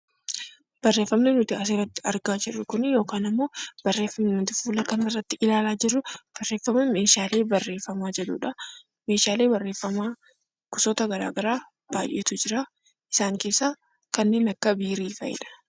Barreeffamni nuti asirratti argaa jirru kun yookiin immoo barreeffamni nuti fuula kana irratti ilaalaa jrru kun barreeffama meeshaalee barreeffamaa jedhudha. Meeshaalee barreeffamaa gosoota garaa garaa baay'eetu jira. Isaan keessaa kanneen akka Kobbee fa'idha.